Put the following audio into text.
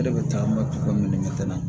E de bɛ taa komi nɛgɛ tɛna